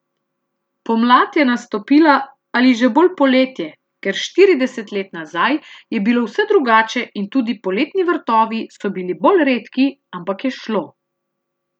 Pomlad je nastopila ali že bolj poletje, ker štirideset let nazaj je bilo vse drugače in tudi poletni vrtovi so bili bolj redki, ampak je šlo.